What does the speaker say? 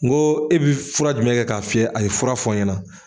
N ko e bɛ fura jumɛn kɛ k'a fiyɛ a ye fura fɔ n ɲɛna.